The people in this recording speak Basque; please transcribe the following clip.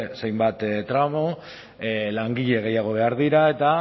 zenbait tramo langile gehiago behar dira eta